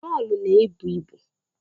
Mọlụ na ebu ibu